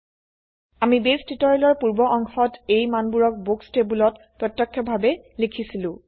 আমি বেস টিউটোৰিয়েলৰ পূৰ্ব অংশত এই মানবোৰক বুক্স টেবোলত প্ৰত্যক্ষভাবে লিখিছিলো